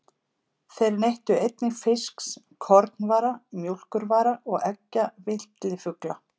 Þeir neyttu einnig fisks, kornvara, mjólkurvara og eggja villifugla.